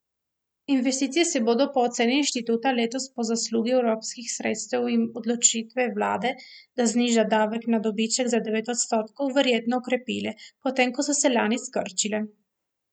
Investicije se bodo po oceni inštituta letos po zaslugi evropskih sredstev in odločitve vlade, da zniža davek na dobiček na devet odstotkov, verjetno okrepile, potem ko so se lani skrčile.